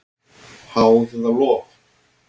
Háð eða lof?